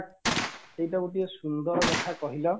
ଏଇଟା ଗୋଟିଏ ସୁନ୍ଦର କଥା କହିଲ